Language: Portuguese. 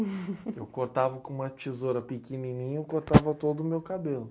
Eu cortava com uma tesoura pequenininha, eu cortava todo o meu cabelo.